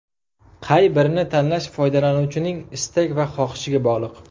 Qay birini tanlash foydalanuvchining istak va xohishiga bog‘liq.